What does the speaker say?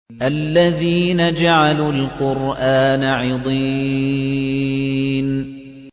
الَّذِينَ جَعَلُوا الْقُرْآنَ عِضِينَ